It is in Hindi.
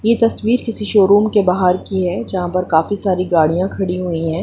ये तस्वीर किसी शोरूम के बाहर की है जहाँ काफी सारी गाड़ियाँ खड़ी हुई है।